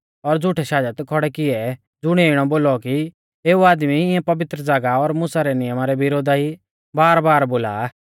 और झ़ुठै शाजत खौड़ै किऐ ज़ुणिऐ इणौ बोलौ कि एऊ आदमी इऐं पवित्र ज़ागाह और मुसा रै नियमा रै विरोधा ई बारबार बोला आ